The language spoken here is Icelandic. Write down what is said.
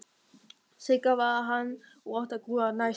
Sigga varð hann og átti að grúfa næst.